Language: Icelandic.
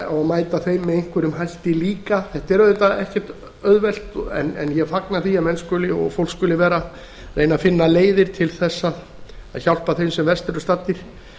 að mæta þeim með einhverjum hætti líka þetta er auðvitað ekkert auðvelt en ég fagna því að fólk skuli vera að reyna að finna leiðir til þess að hjálpa þeim sem verst eru staddir